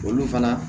Olu fana